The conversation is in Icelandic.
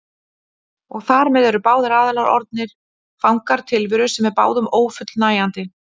Og þar með eru báðir aðilar orðnir fangar tilveru sem er báðum ófullnægjandi.